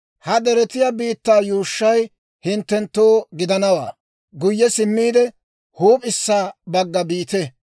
‹Ha deretiyaa biittaa yuushshay hinttenttoo gidanawaa; guyye simmiide, huup'issa bagga biite.